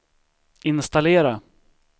installera